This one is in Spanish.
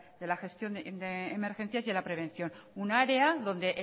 de la gestión de emergencias y en la prevención un área dónde